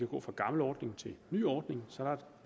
gå fra gammel ordning til ny ordning